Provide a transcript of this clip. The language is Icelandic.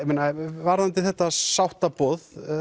varðandi þetta sáttaboð